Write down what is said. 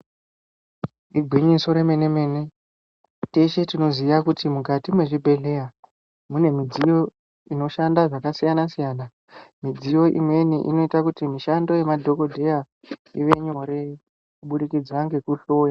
Igwinyiso remene mene, teshe tinoziya kuti mukati mwechibhedhlera mune midziyo inoshanda zvakasiyana siyana. Midziyo imweni inoita kuti mishando yemadhokodheya iwe nyore kubudikidza ngekuhloya.